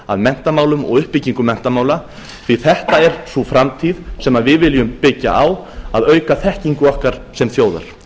að menntamálum og uppbyggingu menntamála því þetta er sú framtíð sem við viljum byggja á að auka þekkingu okkar sem þjóðar